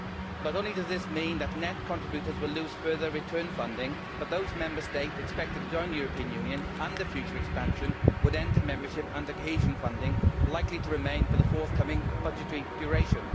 Not only does this mean that net contributors will lose further return funding, but those Member States expected to join the European Union under future expansion would enter membership under cohesion funding likely to remain for the forthcoming budgetary duration.